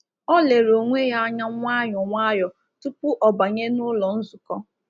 Ọ lere onwe ya anya nwayọ nwayọ tupu ọ banye n’ụlọ nzukọ.